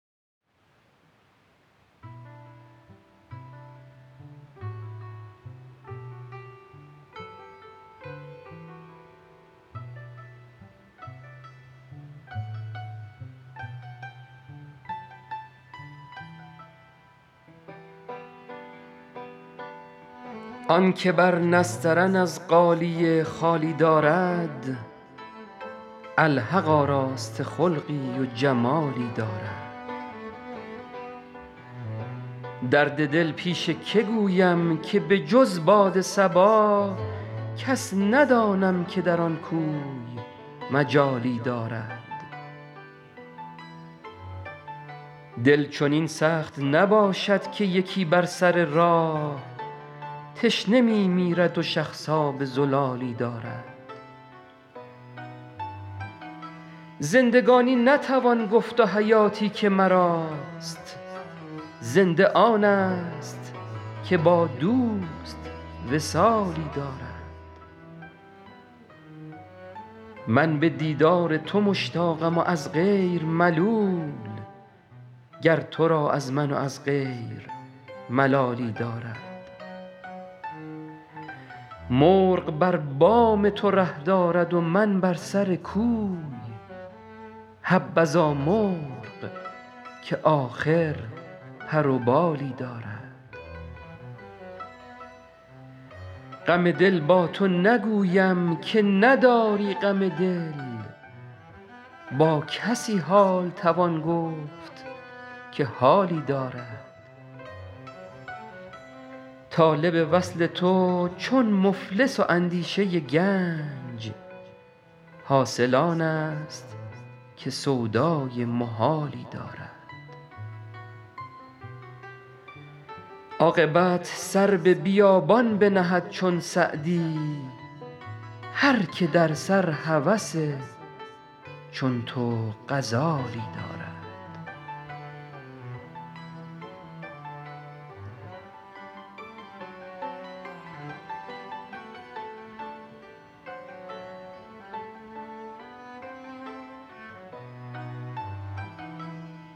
آن که بر نسترن از غالیه خالی دارد الحق آراسته خلقی و جمالی دارد درد دل پیش که گویم که به جز باد صبا کس ندانم که در آن کوی مجالی دارد دل چنین سخت نباشد که یکی بر سر راه تشنه می میرد و شخص آب زلالی دارد زندگانی نتوان گفت و حیاتی که مراست زنده آنست که با دوست وصالی دارد من به دیدار تو مشتاقم و از غیر ملول گر تو را از من و از غیر ملالی دارد مرغ بر بام تو ره دارد و من بر سر کوی حبذا مرغ که آخر پر و بالی دارد غم دل با تو نگویم که نداری غم دل با کسی حال توان گفت که حالی دارد طالب وصل تو چون مفلس و اندیشه گنج حاصل آنست که سودای محالی دارد عاقبت سر به بیابان بنهد چون سعدی هر که در سر هوس چون تو غزالی دارد